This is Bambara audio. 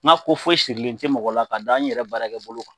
N ga ko foyi sirilen tɛ mɔgɔ la k'a da n yɛrɛ baara kɛ bolo kan